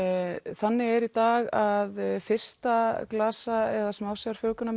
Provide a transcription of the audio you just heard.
þannig er í dag að fyrsta glasa eða smásjár